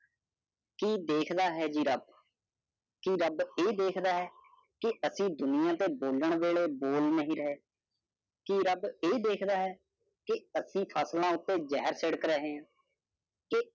ਕਿ ਦੇਖਦਾ ਹੈ ਜੀ ਰਬ। ਕਿ ਰਬ ਇਹ ਦੇਖਦਾ ਹੈ ਕਿ ਐਸੀ ਤੇ ਬੋਲਣ ਵੇਲੇ ਬੋਲ ਨਹੀਂ ਰਹੇ। ਕਿ ਰਬ ਇਹ ਦੇਖਦਾ ਹੈ ਕਿ ਐਸੀ ਫੈਸਲਾ ਉਤੇ ਜਾਹਿਰ ਛਿਡ਼ਕ ਰਹੇ ਹੈ। ਕੇ